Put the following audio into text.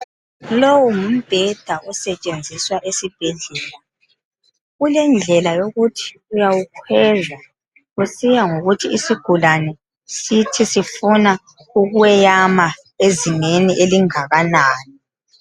Lowu ngumbheda osetshenziswa esibhedlela. Ulendlela yokuthi uyakhweza kusiya ngokuthi isigulane sifuna ukweyama okungakanani.